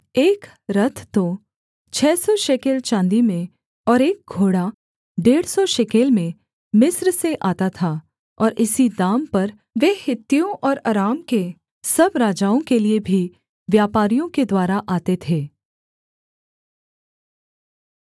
एक रथ तो छः सौ शेकेल चाँदी में और एक घोड़ा डेढ़ सौ शेकेल में मिस्र से आता था और इसी दाम पर वे हित्तियों और अराम के सब राजाओं के लिये भी व्यापारियों के द्वारा आते थे